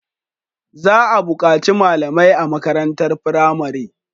Za a bukaci malamai a makarantar firamare